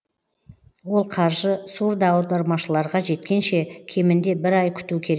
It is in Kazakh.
ол қаржы сурдоаудармашыларға жеткенше кемінде бір ай күту керек